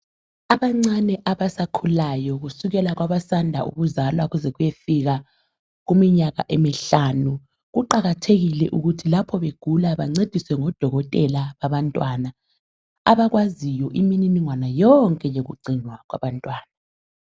Abancane abasakhulayo kusukela kwabasanda ukuzalwa kuze kuyefika kuminyaka emihlanu kuqakathekile ukuthi lapho begula bancediswe ngodokotela babantwana abakwaziyo imininingwana yonke yokugcinwa kwabantwana.